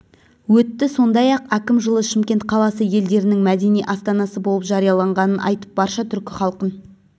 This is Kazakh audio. өтті сондай-ақ әкім жылы шымкент қаласы елдерінің мадени астанасы болып жарияланғанын айтып барша түркі халқын